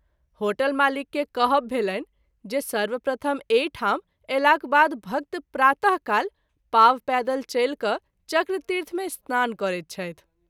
Hotel मालिक के कहब भेलनि जे सर्वप्रथम एहि ठाम अयलाक बाद भक्त प्रात: काल पाँव पैदल चलि क’ चक्रतीर्थ मे स्नान करैत छथि।